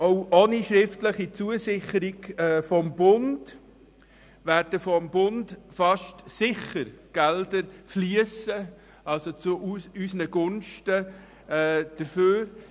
– Auch ohne schriftliche Zusicherung des Bundes werden vom Bund fast sicher Gelder zu unseren Gunsten fliessen.